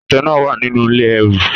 Àtẹ náà wà nínú ilé ẹrù.